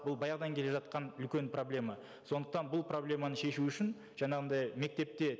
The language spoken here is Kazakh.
бұл баяғыдан келе жатқан үлкен проблема сондықтан бұл проблеманы шешу үшін жаңағындай мектепте